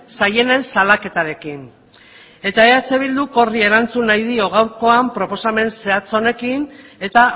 zaienen salaketarekin eh bilduk horri erantzun nahi dio gaurkoan proposamen zehatz honekin eta